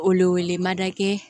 Wele wele ma da kɛ